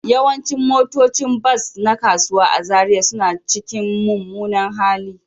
Yawancin motocin bas na kasuwanci a Zariya suna cikin mummunan hali